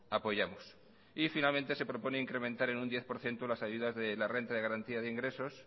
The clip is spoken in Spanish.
apoyamos y finalmente se propone incrementar en un diez por ciento las ayudas de la renta de garantía de ingresos